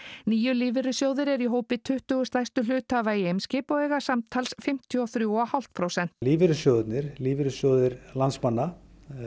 níu lífeyrissjóðir eru í hópi tuttugu stærstu hluthafa í Eimskip og eiga samtals fimmtíu og þrjú og hálft prósent í lífeyrissjóðirnir lífeyrissjóðir landsmanna